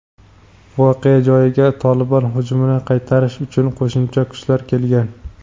voqea joyiga "Tolibon" hujumini qaytarish uchun qo‘shimcha kuchlar kelgan.